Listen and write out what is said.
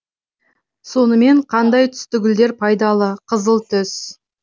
сонымен қандай түсті гүлдер пайдалы қызыл түс